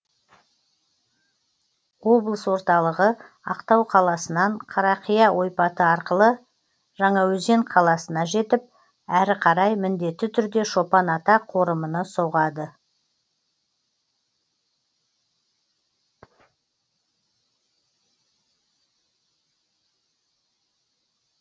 облыс орталығы ақтау қаласынан қарақия ойпаты арқылы жаңаөзен қаласына жетіп әрі қарай міндетті түрде шопан ата қорымына соғады